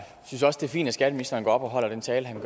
fint at skatteministeren går op og holder den tale han